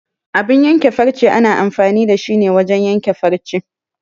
Abun yanke farce ana amfani da shi ne wajen yanke farce.